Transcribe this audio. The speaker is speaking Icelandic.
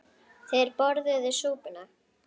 Þeir borðuðu súpuna.